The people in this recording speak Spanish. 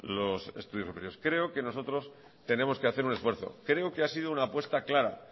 los estudios superiores creo que nosotros tenemos que hacer un esfuerzo creo que ha sido una apuesta clara